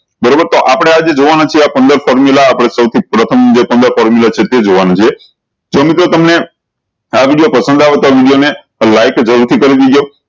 બરોબર તો આપળે આજે જોવાના છે આ પંદર formula આપળે સૌ થી પ્રથમ જે પંદર formula છે તે જોવાનું છે તો મિત્રો તમને આ વિડીયો પસંદ આવે તો આ વિડીયો ને like જરૂર થી કરીદેજો